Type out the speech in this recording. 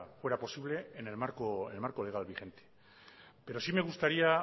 fuera posible en el marco legal vigente pero sí me gustaría